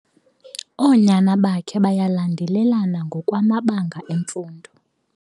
Oonyana bakhe bayalandelelana ngokwamabanga emfundo.